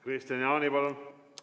Kristian Jaani, palun!